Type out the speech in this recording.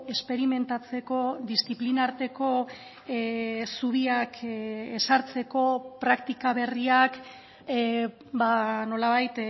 esperimentatzeko diziplina arteko zubiak ezartzeko praktika berriak nolabait